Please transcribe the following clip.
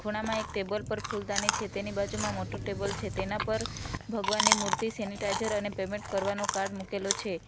ખૂણામાં એક ટેબલ પર ફૂલદાની છે તેની બાજુમાં મોટ્ટુ ટેબલ છે તેના પર ભગવાનની મૂર્તિ સેનીટાઇઝર અને પેમેન્ટ કરવાનો કાર્ડ મુકેલો છે.